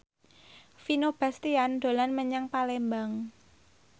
Vino Bastian dolan menyang Palembang